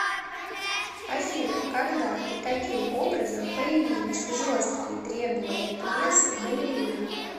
афина когда и каким образом появились жесткие требования к весу балерин